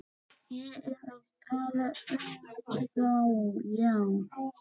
Ég er að tala um þá, já.